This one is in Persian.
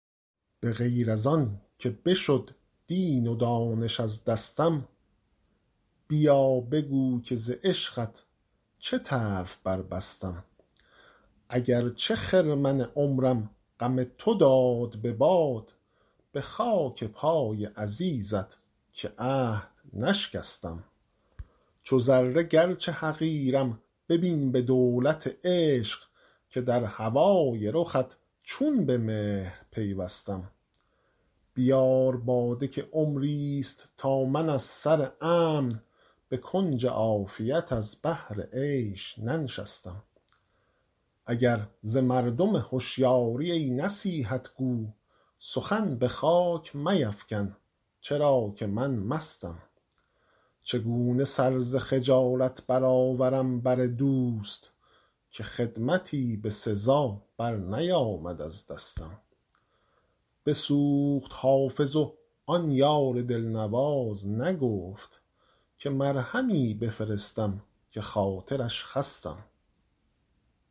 به غیر از آن که بشد دین و دانش از دستم بیا بگو که ز عشقت چه طرف بربستم اگر چه خرمن عمرم غم تو داد به باد به خاک پای عزیزت که عهد نشکستم چو ذره گرچه حقیرم ببین به دولت عشق که در هوای رخت چون به مهر پیوستم بیار باده که عمریست تا من از سر امن به کنج عافیت از بهر عیش ننشستم اگر ز مردم هشیاری ای نصیحت گو سخن به خاک میفکن چرا که من مستم چگونه سر ز خجالت برآورم بر دوست که خدمتی به سزا برنیامد از دستم بسوخت حافظ و آن یار دلنواز نگفت که مرهمی بفرستم که خاطرش خستم